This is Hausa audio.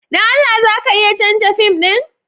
Don Allah za ka iya canza fim ɗin?